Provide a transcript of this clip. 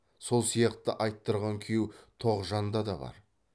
сол сияқты айттырған күйеу тоғжанда да бар